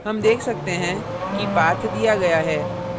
हम देख सकते हैं कि path दिया गया है